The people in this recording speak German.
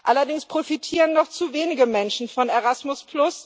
Allerdings profitieren noch zu wenige Menschen von Erasmus.